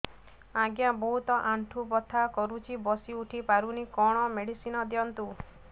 ଆଜ୍ଞା ବହୁତ ଆଣ୍ଠୁ ବଥା କରୁଛି ବସି ଉଠି ପାରୁନି କଣ ମେଡ଼ିସିନ ଦିଅନ୍ତୁ